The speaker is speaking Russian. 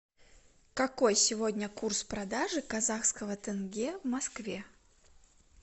какой сегодня курс продажи казахского тенге в москве